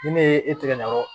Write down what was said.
Ni ne ye e tigɛ ɲaga